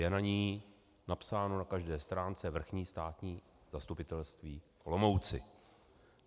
Je na ní napsáno na každé stránce Vrchní státní zastupitelství v Olomouci.